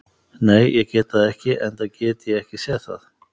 Nei, ég get það ekki enda get ég ekki séð það.